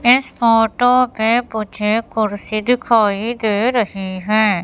इस फोटो पे मुझे कुर्सी दिखाई दे रही है।